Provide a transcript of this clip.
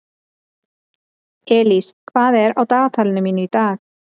Elís, hvað er á dagatalinu mínu í dag?